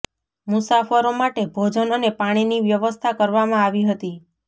મુસાફરો માટે ભોજન અને પાણીની વ્યવસ્થા કરવામાં આવી હતી